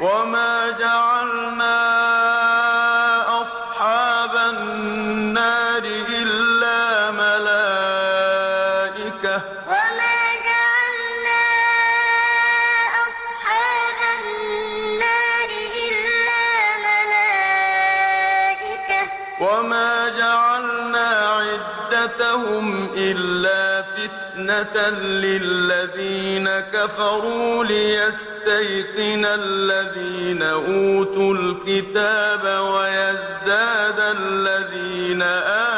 وَمَا جَعَلْنَا أَصْحَابَ النَّارِ إِلَّا مَلَائِكَةً ۙ وَمَا جَعَلْنَا عِدَّتَهُمْ إِلَّا فِتْنَةً لِّلَّذِينَ كَفَرُوا لِيَسْتَيْقِنَ الَّذِينَ أُوتُوا الْكِتَابَ وَيَزْدَادَ الَّذِينَ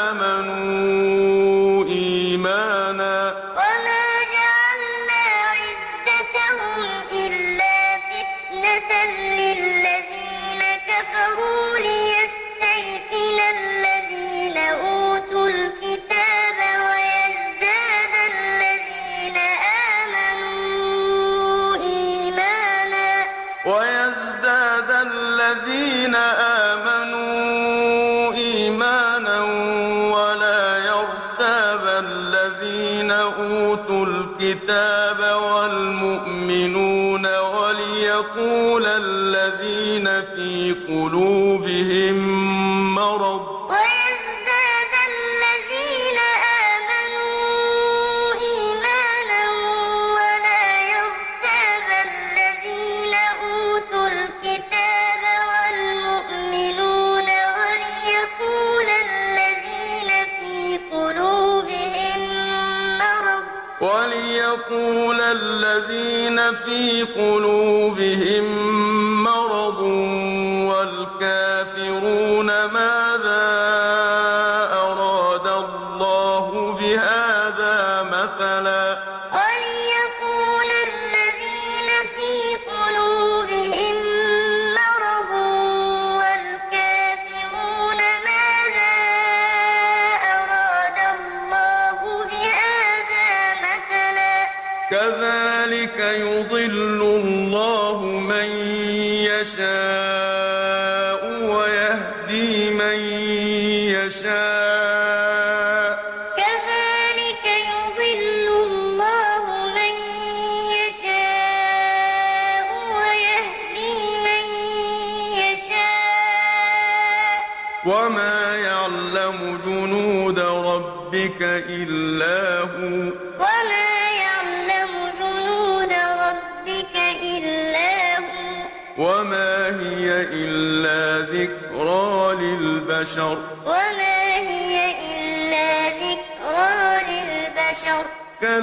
آمَنُوا إِيمَانًا ۙ وَلَا يَرْتَابَ الَّذِينَ أُوتُوا الْكِتَابَ وَالْمُؤْمِنُونَ ۙ وَلِيَقُولَ الَّذِينَ فِي قُلُوبِهِم مَّرَضٌ وَالْكَافِرُونَ مَاذَا أَرَادَ اللَّهُ بِهَٰذَا مَثَلًا ۚ كَذَٰلِكَ يُضِلُّ اللَّهُ مَن يَشَاءُ وَيَهْدِي مَن يَشَاءُ ۚ وَمَا يَعْلَمُ جُنُودَ رَبِّكَ إِلَّا هُوَ ۚ وَمَا هِيَ إِلَّا ذِكْرَىٰ لِلْبَشَرِ وَمَا جَعَلْنَا أَصْحَابَ النَّارِ إِلَّا مَلَائِكَةً ۙ وَمَا جَعَلْنَا عِدَّتَهُمْ إِلَّا فِتْنَةً لِّلَّذِينَ كَفَرُوا لِيَسْتَيْقِنَ الَّذِينَ أُوتُوا الْكِتَابَ وَيَزْدَادَ الَّذِينَ آمَنُوا إِيمَانًا ۙ وَلَا يَرْتَابَ الَّذِينَ أُوتُوا الْكِتَابَ وَالْمُؤْمِنُونَ ۙ وَلِيَقُولَ الَّذِينَ فِي قُلُوبِهِم مَّرَضٌ وَالْكَافِرُونَ مَاذَا أَرَادَ اللَّهُ بِهَٰذَا مَثَلًا ۚ كَذَٰلِكَ يُضِلُّ اللَّهُ مَن يَشَاءُ وَيَهْدِي مَن يَشَاءُ ۚ وَمَا يَعْلَمُ جُنُودَ رَبِّكَ إِلَّا هُوَ ۚ وَمَا هِيَ إِلَّا ذِكْرَىٰ لِلْبَشَرِ